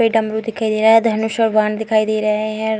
ये डमरू दिखाई दे रहा हे धनुष और बाण दिखाई दे रहे हें।